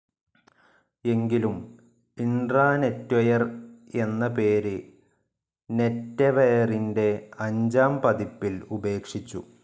എങ്കിലും ഇൻട്രാനെറ്റ്വെയർ എന്ന പേര് നെറ്റെവെയറിൻ്റെ അഞ്ചാംപതിപ്പിൽ ഉപേക്ഷിച്ചു.